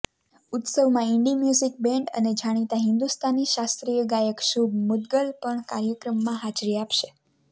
ઉત્સવમાં indie music band અને જાણીતા હિન્દુસ્તાની શાસ્ત્રીય ગાયક શુભ મુદગલ પણ કાર્યક્રમમાં હાજરી આપશે